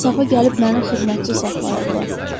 İnsafa gəlib məni xidmətçi saxlayıblar.